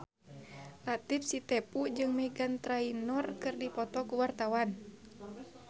Latief Sitepu jeung Meghan Trainor keur dipoto ku wartawan